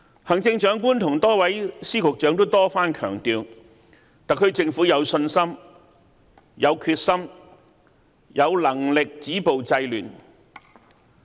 行政長官和多位司長、局長多番強調，特區政府有信心、有決心、有能力止暴制亂。